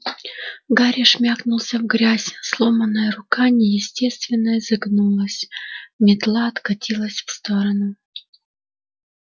гарри шмякнулся в грязь сломанная рука неестественно изогнулась метла откатилась в сторону